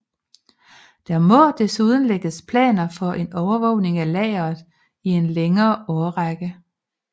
Der må desuden lægges planer for en overvågning af lageret i en længere årrække